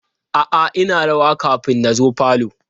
A'a ina rawa kafin na zo falo.